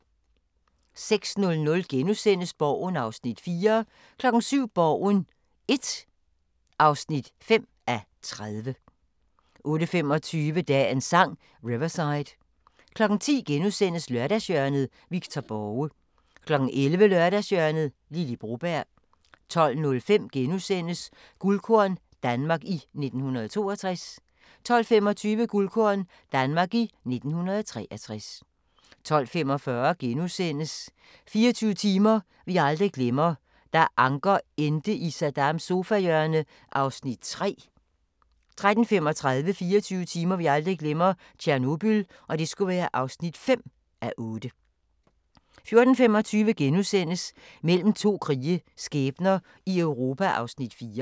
06:00: Borgen (4:30)* 07:00: Borgen I (5:30) 08:25: Dagens Sang: Riverside 10:00: Lørdagshjørnet – Victor Borge * 11:00: Lørdagshjørnet - Lily Broberg 12:05: Guldkorn - Danmark i 1962 * 12:25: Guldkorn - Danmark i 1963 12:45: 24 timer vi aldrig glemmer: Da Anker endte i Saddams sofahjørne (3:8)* 13:35: 24 timer vi aldrig glemmer: Tjernobyl (5:8) 14:25: Mellem to krige – skæbner i Europa (4:8)*